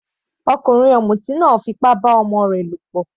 Ọkùnrin ọ̀mùtí náà fí ipá bá ọmọ rẹ lọ̀pọ̀.